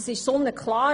Das ist sonnenklar;